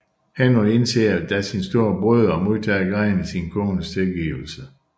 Henry indser da sin store brøde og modtager grædende sin kones tilgivelse